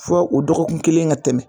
Fɔ o dɔgɔkun kelen ka tɛmɛ